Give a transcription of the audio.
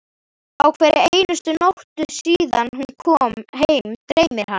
Á hverri einustu nóttu síðan hún kom heim dreymir hana